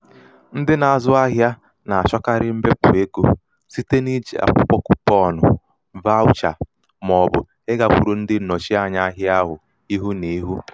ndị na-azụ ahịa na-àchọkarị mbepụ̀ egō site n’iiji akwụkwọ kupọ̀n akwụkwọ kupọ̀n vaawụchà màọ̀bụ̀ ịgākwuru ndị ǹnọ̀chianya ahịa ihu nà ihu.